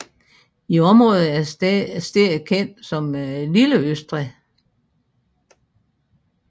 I området er stedet kendt som lille Østrig